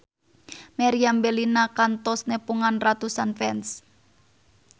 Meriam Bellina kantos nepungan ratusan fans